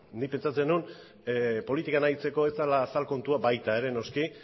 nik pentsatzen nuen politikan aritzeko ez zela azal kontua baita ere noski